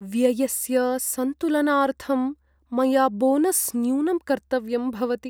व्ययस्य सन्तुलनार्थं मया बोनस् न्यूनं कर्तव्यं भवति।